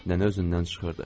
Nənə özündən çıxırdı.